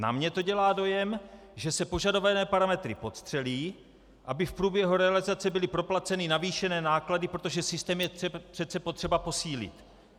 Na mě to dělá dojem, že se požadované parametry podstřelí, aby v průběhu realizace byly proplaceny navýšené náklady, protože systém je přece potřeba posílit.